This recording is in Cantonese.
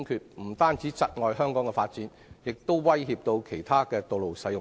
這不單窒礙香港的發展，也威脅其他道路使用者。